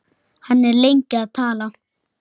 Hann er lengi að tala.